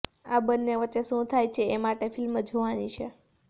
આ બંને વચ્ચે શું થાય છે એ માટે ફિલ્મ જોવાની છે